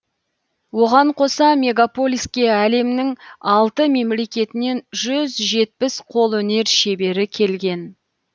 оған қоса мегаполиске әлемнің алты мемлекетінен жүз жетпіс қолөнер шебері келген